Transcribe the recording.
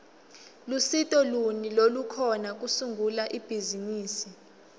lusito luni lolukhona kusungula ibhizimisi